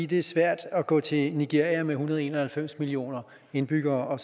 det er svært at gå til nigeria med en hundrede og en og halvfems millioner indbyggere og